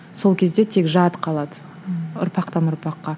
сол кезде тек жад қалады ұрпақтан ұрпаққа